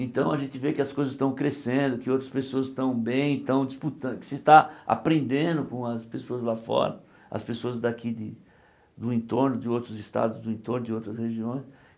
Então a gente vê que as coisas estão crescendo, que outras pessoas estão bem, estão disputando, que se está aprendendo com as pessoas lá fora, as pessoas daqui do entorno, de outros estados, do entorno, de outras regiões.